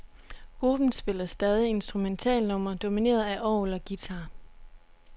Gruppen spiller stadig instrumentalnumre domineret af orgel og guitar.